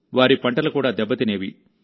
వారి పంటలు కూడా దెబ్బతినేవి